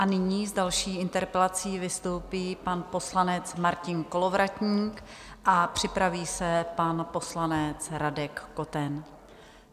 A nyní s další interpelací vystoupí pan poslanec Martin Kolovratník a připraví se pan poslanec Radek Koten.